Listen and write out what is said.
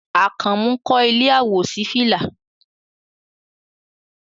Àkànmú kọ́ ilé àwòṣífìlà